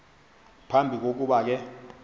phambi kokuba ke